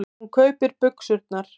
Hún kaupir buxurnar.